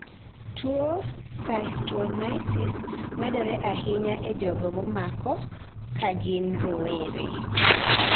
tuo cystonisis medore ahinya e jogo momako kagin rowere